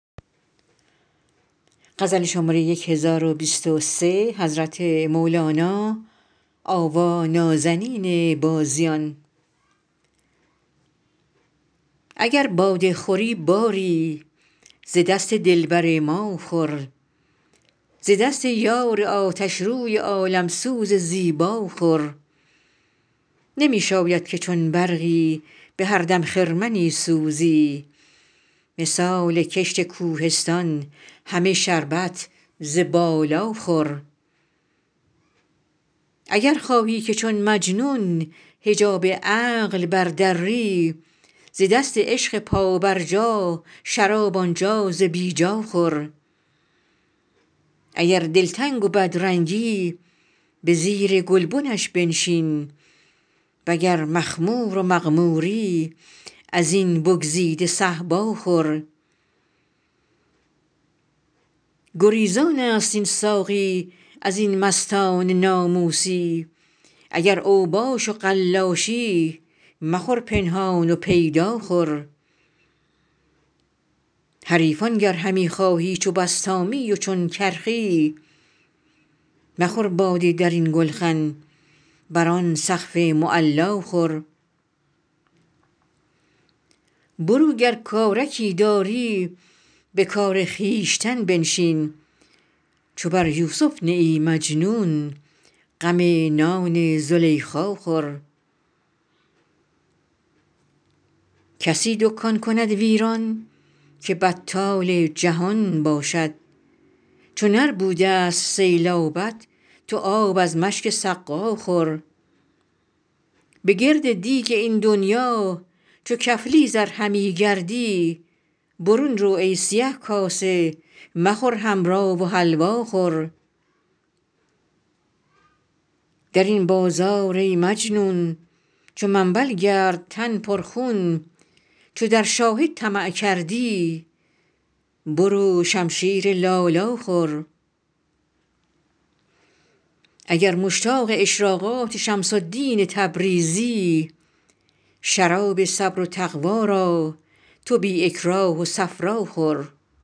اگر باده خوری باری ز دست دلبر ما خور ز دست یار آتشروی عالم سوز زیبا خور نمی شاید که چون برقی به هر دم خرمنی سوزی مثال کشت کوهستان همه شربت ز بالا خور اگر خواهی که چون مجنون حجاب عقل بردری ز دست عشق پابرجا شراب آن جا ز بی جا خور اگر دلتنگ و بدرنگی به زیر گلبنش بنشین وگر مخمور و مغموری از این بگزیده صهبا خور گریزانست این ساقی از این مستان ناموسی اگر اوباش و قلاشی مخور پنهان و پیدا خور حریفان گر همی خواهی چو بسطامی و چون کرخی مخور باده در این گلخن بر آن سقف معلا خور برو گر کارکی داری به کار خویشتن بنشین چو بر یوسف نه ای مجنون غم نان زلیخا خور کسی دکان کند ویران که بطال جهان باشد چو نربود ه است سیلابت تو آب از مشک سقا خور بگرد دیگ این دنیا چو کفلیز ار همی گردی برون رو ای سیه کاسه مخور حمرا و حلوا خور در این بازار ای مجنون چو منبل گرد تن پرخون چو در شاهد طمع کردی برو شمشیر لالا خور اگر مشتاق اشراقات شمس الدین تبریزی شراب صبر و تقوا را تو بی اکراه و صفرا خور